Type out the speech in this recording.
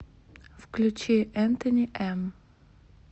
включи энтони эм